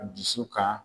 Dusu ka